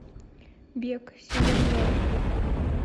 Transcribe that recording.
бег сезон два